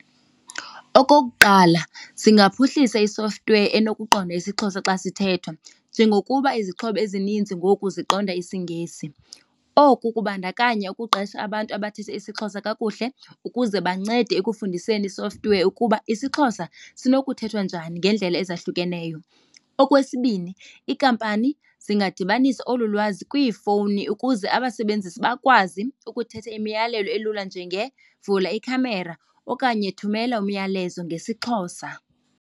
Okokuqala singaphuhlisa i-software enokuqonda isiXhosa xa sithethwa njengokuba izixhobo ezininzi ngoku ziqonda isiNgesi. Oku kubandakanya ukuqesha abantu abathetha isiXhosa kakuhle ukuze bancede ekufundiseni i-software ukuba isiXhosa sinokuthethwa njani ngeendlela ezahlukeneyo. Okwesibini iinkampani zingadibanisa olu lwazi kwiifowuni ukuze abasebenzisi bakwazi ukuthetha imiyalelo elula njengevula ikhamera okanye thumele umyalezo ngesiXhosa.